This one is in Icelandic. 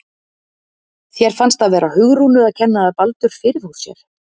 Þér fannst það vera Hugrúnu að kenna að Baldur fyrirfór sér?